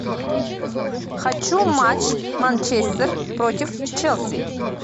хочу матч манчестер против челси